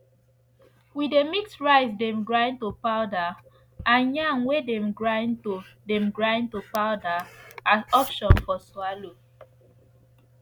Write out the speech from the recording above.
we dey mix rice dem grind to powder and yam wey dem grind to dem grind to powder as option for swallow